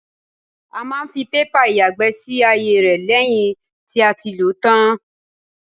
A máa ń fi pépà ìyàgbẹ́ sí àyè rẹ lẹ́yìn tí a ti lòó tán.